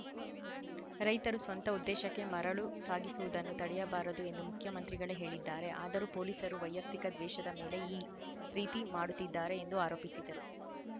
ರೈತರು ಸ್ವಂತ ಉದ್ದೇಶಕ್ಕೆ ಮರಳು ಸಾಗಿಸುವುದನ್ನು ತಡೆಯಬಾರದು ಎಂದು ಮುಖ್ಯಮಂತ್ರಿಗಳೇ ಹೇಳಿದ್ದಾರೆ ಆದರೂ ಪೊಲೀಸರು ವೈಯುಕ್ತಿಕ ದ್ವೇಷದ ಮೇಲೆ ಈ ರೀತಿ ಮಾಡುತ್ತಿದ್ದಾರೆ ಎಂದು ಆರೋಪಿಸಿದರು